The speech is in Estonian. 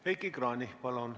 Heiki Kranich, palun!